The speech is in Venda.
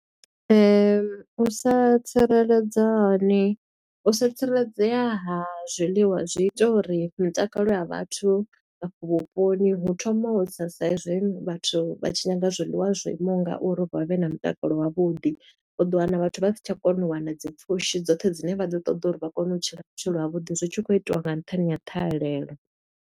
U sa tsireledza hani, u sa tsireledzea ha zwiḽiwa zwi ita uri mitakalo ya vhathu vha afha vhuponi, hu thoma u tsa sa i zwi vhathu vha tshi nyaga zwiḽiwa zwo imaho nga uri, vha vhe na mutakalo wavhuḓi. U ḓo wana vhathu vha si tsha kona u wana dzi pfushi dzoṱhe dzine vha ḓo ṱoḓa uri vha kone u tshila vhutshilo ha vhuḓi, zwi tshi khou itiwa nga nṱhani ha ṱhahelelo.